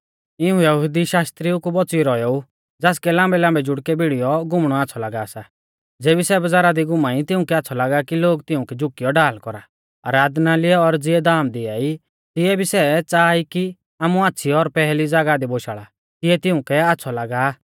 इऊं यहुदी शास्त्रिउ कु बौच़ियौ रौएऊ ज़ासकै लाम्बैलाम्बै जुड़कै भिड़ीयौ घुमणौ आच़्छ़ौ लागा सा ज़ेबी सै बज़ारा दी घुमाई तिउंकै आच़्छ़ौ लागा कि लोग तिऊं कै झुकियौ ढाल कौरा आराधनालय और ज़िऐ धाम दिआई तिऐ भी सै च़ाहा ई कि आमु आच़्छ़ी और पैहली ज़ागाह दी बोशाल़ा तिऐ तिउंकै आच़्छ़ौ लागा आ